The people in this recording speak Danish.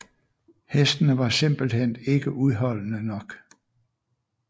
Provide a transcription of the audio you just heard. Hestene var simpelthen ikke udholdende nok